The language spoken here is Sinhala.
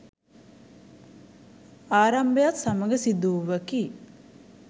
ආරම්භයත් සමඟ සිදු වූවකි.